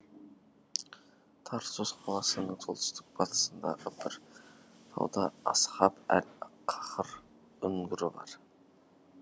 тарсус қаласының солтүстік батысындағы бір тауда асхаб әл каһр үңгірі бар